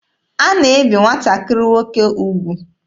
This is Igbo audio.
A na-ebi nwatakịrị nwoke ugwu.